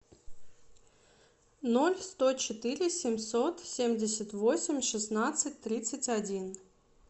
ноль сто четыре семьсот семьдесят восемь шестнадцать тридцать один